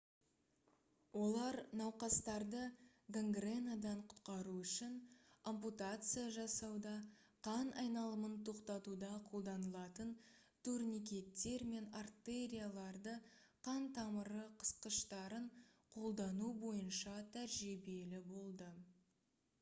олар науқастарды гангренадан құтқару үшін ампутация жасауда қан айналымын тоқтатуда қолданылатын турникеттер мен артериалды қан тамыры қысқыштарын қолдану бойынша тәжірибелі болды